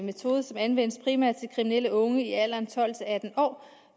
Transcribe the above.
metode som anvendes primært til kriminelle unge i alderen tolv til atten år